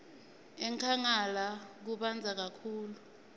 enkhangala kubandza kakhulu